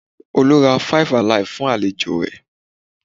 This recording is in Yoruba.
Olú ra five Alive fún àlejò rẹ̀